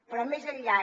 però més enllà